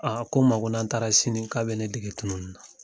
Aa ko ma ko n'an taara sini, k'a bɛ ne dege tununi na.